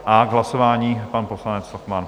A k hlasování pan poslanec Lochman.